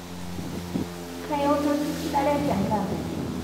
Kayieu natur lare tenkang'ai